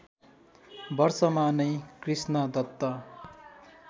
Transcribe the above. वर्षमा नै कृष्णदत्त